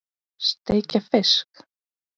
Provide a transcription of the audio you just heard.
Steikja fisk?